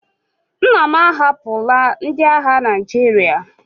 Nna m ahapụla ndị agha Naịjirịa.